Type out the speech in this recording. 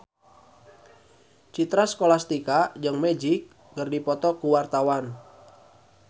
Citra Scholastika jeung Magic keur dipoto ku wartawan